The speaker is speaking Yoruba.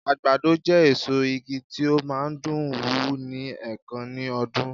àgbàdo je èso ìgi ti o ma n dùn wù ni enkan ní ọdún